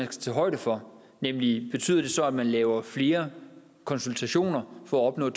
tage højde for nemlig betyder det så at man laver flere konsultationer for at